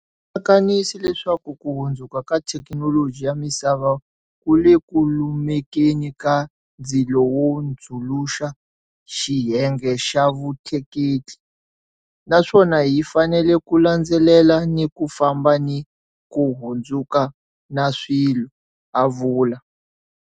Kanisi leswaku ku hundzuka ka thekinoloji ya misava ku le ku lumekeni ka ndzilo wo hundzuluxa xiyenge xa vutleketli, naswona hi fanele ku landzelela ni ku famba ni ku hundzuka na swilo, a vula.